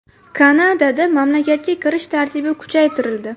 Kanadada mamlakatga kirish tartibi kuchaytirildi.